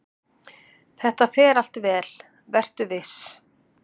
"""Þetta fer allt vel, vertu viss!"""